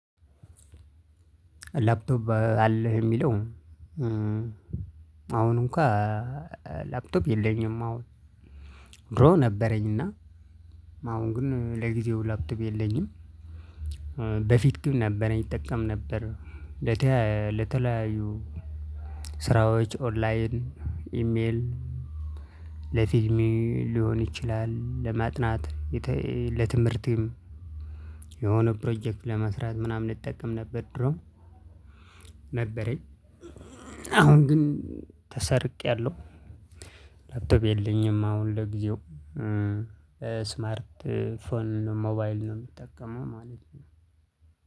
ላፕቶፕ አለህ የሚለው? አሁን እንኳን ላፕቶፕ የለኝም አሁን ድሮ ነበረኝና አሁን ግን ለጊዜው ላፕቶፕ የለኝም። በፊት ግን ነበረኝ እጠቀም ነበር። ለተለያዩ ስራዎች ኦንላይን ኢሜል ለፊልም ሊሆን ይችላል ለማጥናት ለትምህርትም የሆነ ፕሮጀክት ለመስራት ምናምን እጠቀም ነበር። ድሮ ነበረኝ አሁን ግን ተሰርቄያለሁ ላፕቶፕ የለኝም። አሁን ለጊዜው ስማርት ፎን ሞባይል ነው የምጠቀመው ማለት ነው።